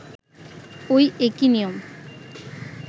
ঐ একই নিয়ম